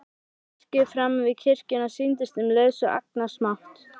Virkið framan við kirkjuna sýndist um leið svo agnarsmátt.